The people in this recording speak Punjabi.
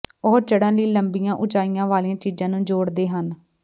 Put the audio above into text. ਉਹ ਚੜ੍ਹਨ ਲਈ ਲੰਬੀਆਂ ਉਚਾਈਆਂ ਵਾਲੀਆਂ ਚੀਜ਼ਾਂ ਨੂੰ ਜੋੜਦੇ ਹਨ